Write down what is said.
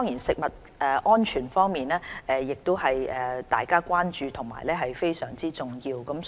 食物安全亦是大家關注和非常重要的範疇。